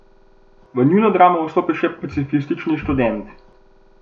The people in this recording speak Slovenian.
V njuno dramo vstopi še pacifistični Študent ...